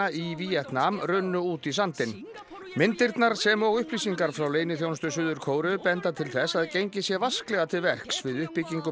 í Víetnam runnu út í sandinn myndirnar sem og upplýsingar frá leyniþjónustu Suður Kóreu benda til þess að gengið sé vasklega til verks við uppbyggingu